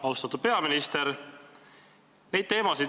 Austatud peaminister!